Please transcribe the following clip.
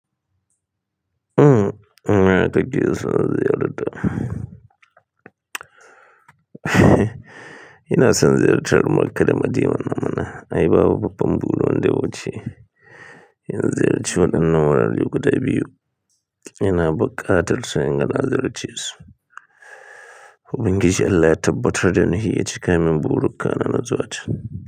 Uhm, ina son ziyarar makka da madina mana, ai babu babban burinwanda ya wuce, in ziyarci wannan wurare guda biyu, ina buka tar son na ziyarcesu Ubangiji Allah yatabbartar dani yacikamin burikana d min kakana na zuwata cen.